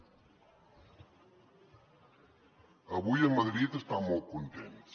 avui a madrid estan molt contents